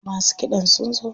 Masu kiɗan sun zo.